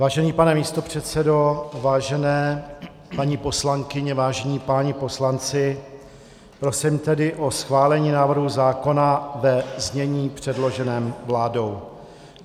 Vážený pane místopředsedo, vážené paní poslankyně, vážení páni poslanci, prosím tedy o schválení návrhu zákona ve znění předloženém vládou.